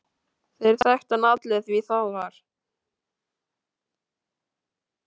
Þeir þekktu hann allir því það var